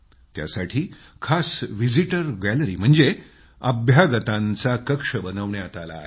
त्यासाठी खास visitor gallery म्हणजेच अभ्यागतांचा कक्ष बनवण्यात आला आहे